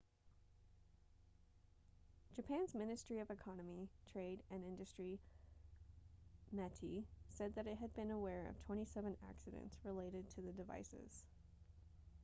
japan's ministry of economy trade and industry meti said that it had been aware of 27 accidents related to the devices